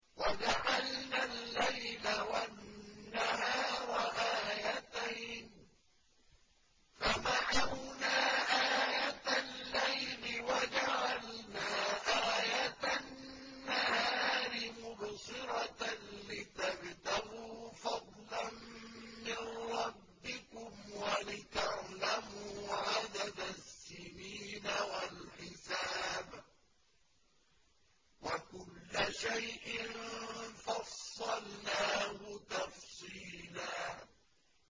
وَجَعَلْنَا اللَّيْلَ وَالنَّهَارَ آيَتَيْنِ ۖ فَمَحَوْنَا آيَةَ اللَّيْلِ وَجَعَلْنَا آيَةَ النَّهَارِ مُبْصِرَةً لِّتَبْتَغُوا فَضْلًا مِّن رَّبِّكُمْ وَلِتَعْلَمُوا عَدَدَ السِّنِينَ وَالْحِسَابَ ۚ وَكُلَّ شَيْءٍ فَصَّلْنَاهُ تَفْصِيلًا